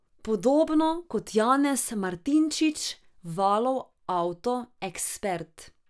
Podobno kot Janez Martinčič, Valov avto ekspert.